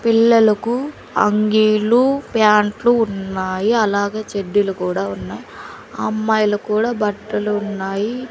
పిల్లలకు అంగీలు ప్యాంట్లు ఉన్నాయి అలాగే చెడ్డీలు కూడా ఉన్నాయ్ అమ్మాయిలకూడా బట్టలు ఉన్నాయి.